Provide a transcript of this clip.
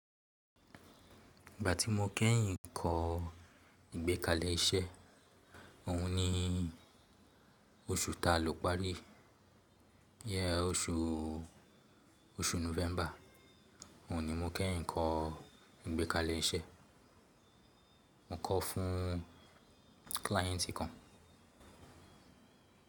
Ìgbà tí mo kẹ́yìn kọ́ ìgbékalẹ̀ iṣẹ́, òhun ni oṣù ta ló parí, yẹ oṣù, oṣù November. Òhun ni mo kẹ́yìn kọ́ ìgbékalẹ̀ iṣẹ́, mo kọ́ fún kíláíyẹ̀ntì kan.